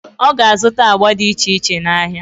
Ọ ga-azụta agba dị iche iche n'ahịa.